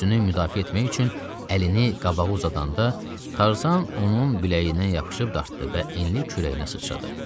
Özünü müdafiə etmək üçün əlini qabağa uzadanda Tarzan onun biləyindən yapışıb dartdı və enli kürəyinə sıçradı.